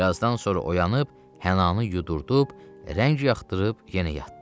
Bir azdan sonra oyanıb hənannı yudurdub, rəng yaxdırıb yenə yatdı.